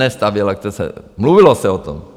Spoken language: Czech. Ne stavěl, mluvilo se o tom.